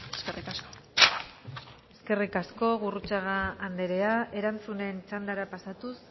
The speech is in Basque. eskerrik asko eskerrik asko gurrutxaga andrea erantzunen txandara pasatuz